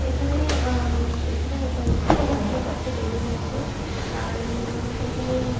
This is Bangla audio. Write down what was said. এখানে উমম এখানে কয়েক এখানে কয়েকটা বেলুন আছে আর ঊম এখানে--